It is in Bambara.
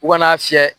U ka n'a fiyɛ